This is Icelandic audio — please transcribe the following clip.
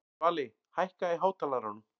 Svali, hækkaðu í hátalaranum.